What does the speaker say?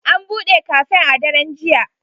An buɗe kafen a daren jiya.